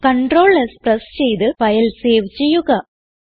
Ctrl s press ചെയ്ത് file save ചെയ്യുക